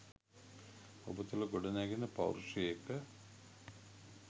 ඔබ තුළ ගොඩනැගෙන පෞරුෂය එක්ක